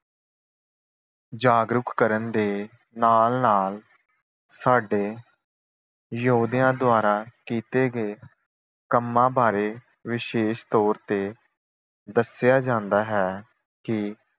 ਜਾਗਰੂਕ ਕਰਨ ਦੇ ਨਾਲ-ਨਾਲ ਸਾਡੇ ਯੋਧਿਆਂ ਦੁਆਰਾ ਕੀਤੇ ਗਏ ਕੰਮਾਂ ਬਾਰੇ ਵਿਸ਼ੇਸ਼ ਤੌਰ ਤੇ ਦੱਸਿਆ ਜਾਂਦਾ ਹੈ ਕਿ